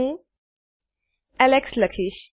હું એલેક્સ લખીશ